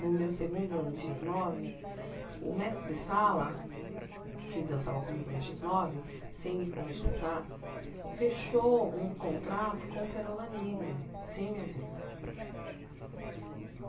No meu segundo ano de xis nove, o mestre Sala, que dançava comigo na xis nove, sem me consultar, fechou um contrato com o Perola Negra, sem me avisar.